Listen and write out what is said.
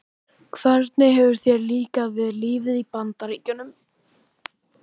Hvernig hefur þér líkað við lífið í Bandaríkjunum?